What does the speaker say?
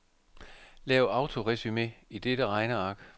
Lav autoresumé i dette regneark.